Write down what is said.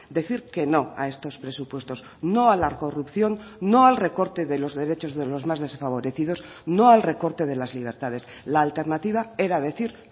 decir que no a estos presupuestos no a la corrupción no al recorte de los derechos de los más desfavorecidos no al recorte de las libertades la alternativa era decir